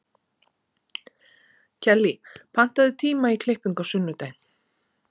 Kellý, pantaðu tíma í klippingu á sunnudaginn.